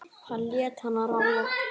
Hann lét hana ráða.